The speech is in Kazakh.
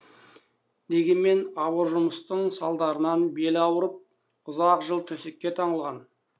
дегенмен ауыр жұмыстың салдарынан белі ауырып ұзақ жыл төсекке таңылған